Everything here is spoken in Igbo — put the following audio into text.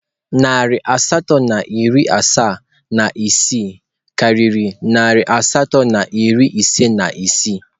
Narị asatọ na iri asaa na isii karịrị narị asatọ na iri ise na isii.